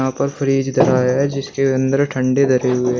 यहां पर फ्रिज धरा है जिसके अंदर ठंडे धरे हुए हैं।